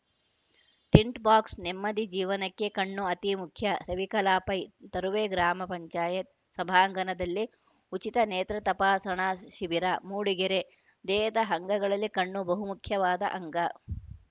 tint box ನೆಮ್ಮದಿ ಜೀವನಕ್ಕೆ ಕಣ್ಣು ಅತಿ ಮುಖ್ಯ ರವಿಕಲಾ ಪೈ ತರುವೆ ಗ್ರಾಮ ಪಂಚಾಯತ್ ಸಭಾಂಗಣದಲ್ಲಿ ಉಚಿತ ನೇತ್ರ ತಪಾಸಣಾ ಶಿಬಿರ ಮೂಡಿಗೆರೆ ದೇಹದ ಅಂಗಗಳಲ್ಲಿ ಕಣ್ಣು ಬಹುಮುಖ್ಯವಾದ ಅಂಗ